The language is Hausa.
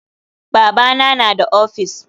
Babana na da ofis.